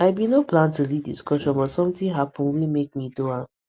i bin no plan to lead discussion but something happen wey make me do am